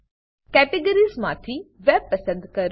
categories categories માંથી web web પસંદ કરો